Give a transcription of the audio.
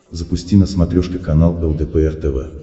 запусти на смотрешке канал лдпр тв